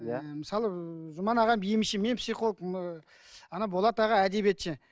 иә мысалы жұман аға емші мен психологпін ыыы ана болат аға әдебиетші